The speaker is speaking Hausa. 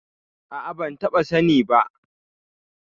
A'a, ban taɓa sani ba.